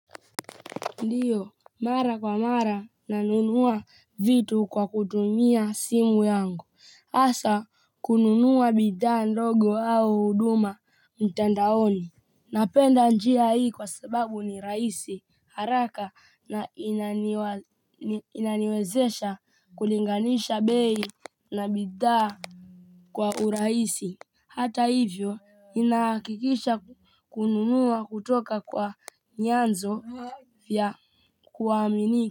Ndio, mara kwa mara nanunua vitu kwa kutumia simu yangu, hasa kununua bidhaa ndogo au huduma mtandaoni. Napenda njia hii kwa sababu ni rahisi, haraka na inaniwezesha kulinganisha bei na bidhaa kwa urahisi. Hata hivyo, inahakikisha kununua kutoka kwa nyanzo vya kuaminika.